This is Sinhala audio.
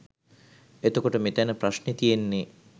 එතකොට මෙතැන ප්‍රශ්නෙ තියෙන්නේ